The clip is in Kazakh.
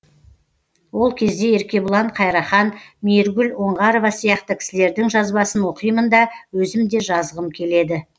ол кезде еркебұлан қайрахан мейіргүл оңғарова сияқты кісілердің жазбасын оқимын да өзім де жазғым келеді